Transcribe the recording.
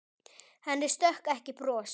Henni stökk ekki bros.